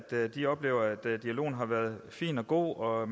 at de oplever at dialogen har været fin og god og at